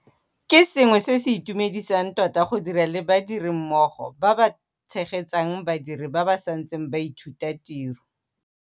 Ke sengwe se se itumedisang tota go dira le badirimmogo ba ba tshegetsang badiri ba ba santseng ba ithuta tiro.